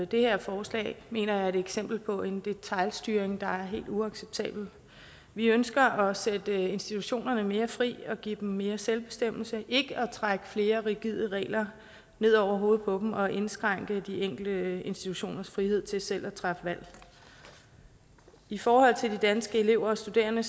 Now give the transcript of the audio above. det her forslag mener jeg er et eksempel på en detailstyring der er helt uacceptabel vi ønsker at sætte institutionerne mere fri og give dem mere selvbestemmelse ikke at trække flere rigide regler ned over hovedet på dem og indskrænke de enkelte institutioners frihed til selv at træffe valg i forhold til de danske elever og studerende